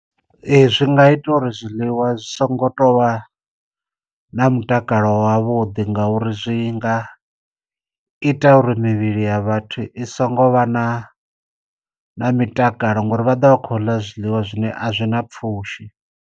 Ee zwi nga ita uri zwiḽiwa zwi songo tovha na mutakalo wavhuḓi ngauri zwi nga ita uri mivhili ya vhathu i songo vha na na mitakalo ngori vha do vha khou ḽa zwiḽiwa zwine a zwi na pfushi.